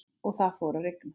Og það fór að rigna.